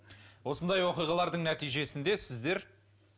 осындай оқиғалардың нәтижесінде сіздер